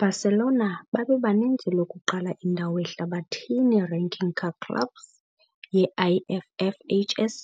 Barcelona babebaninzi lokuqala indawo ehlabathini ranking ka-clubs ye - IFFHS